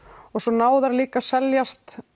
og svo ná þær líka að seljast